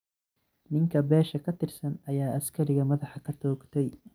Ninka beesha ka tirsan ayaa askariga madaxa ka toogtay.